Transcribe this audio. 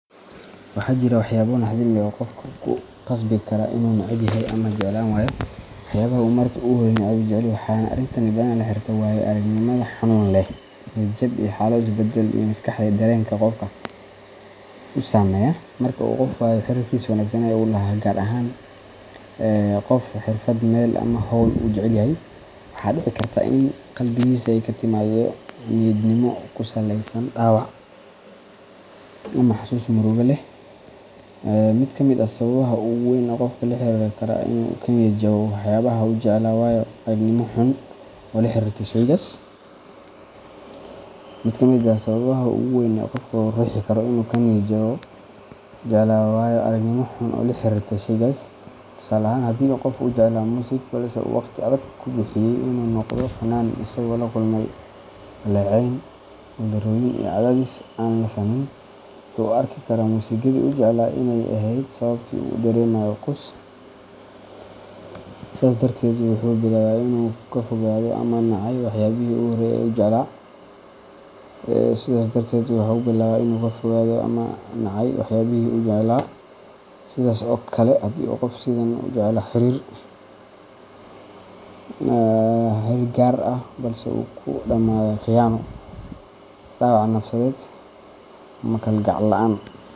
Waxaa jira waxyaabo naxdin leh oo qofka ku khasbi kara inuu neceb yahay ama jeclaan waayo waxyaabihii uu markii hore si dhab ah u jeclaa, waxaana arrintani badanaa la xiriirtaa waayo-aragnimooyin xanuun leh, niyad jab, ama xaalado is-bedbeddelaya oo maskaxda iyo dareenka qofka si toos ah u saameeya. Marka qof uu waayo xiriirkiisii wanaagsan ee uu la lahaa wax gaar ah – ha noqoto qof, xirfad, meel, ama hawl uu jecel yahay – waxaa dhici karta in qalbigiisa ay ka timaaddo diidmo ku saleysan dhaawac ama xasuus murugo leh. Mid ka mid ah sababaha ugu waa weyn ee qofka ku riixi kara inuu ka niyad jabo waxyaabaha uu jeclaa waa waayo-aragnimo xun oo la xiriirta shaygaas. Tusaale ahaan, haddii qof uu jeclaa muusik, balse uu waqti adag ku bixiyay inuu noqdo fannaan isagoo la kulmay dhaleecayn, guuldarrooyin iyo cadaadis aan la fahmin, wuxuu u arki karaa muusikadii uu jeclaa inay ahayd sababta uu u dareemayo quus. Sidaas darteed, wuxuu bilaabaa inuu ka fogaado ama nacay waxyaabihii uu horey u jeclaa. Sidaas oo kale, haddii qof uu si aad ah u jeclaa xiriir gaar ah balse uu ku dhammaaday khiyaano, dhaawac nafsadeed, ama kalgacal la’aan.